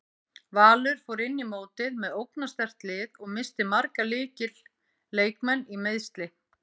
Valur fór inn í mótið með ógnarsterkt lið og missti marga lykil leikmenn í meiðsli.